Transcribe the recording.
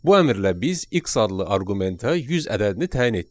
Bu əmrlə biz X adlı arqumentə 100 ədədini təyin etdik.